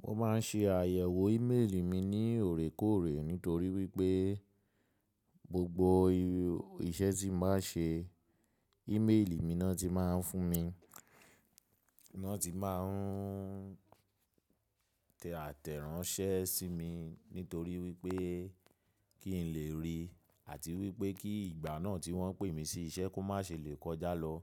Mo máa ń ṣe àyẹ̀wò ímélì mi ní òrékòrè nítorí wípé gbogbo iṣẹ́ tí mo bá ṣe ímélì mi náà ti máa ń fún mi, ni wọn ti máa ń tẹ àtẹ́ranṣẹ́ sí mi nítorí wípé kí n lè rí àti wípé kí ìgbà náà tí wọ́n pè mí sí iṣẹ́ kó má ṣe lè kọjá lọ.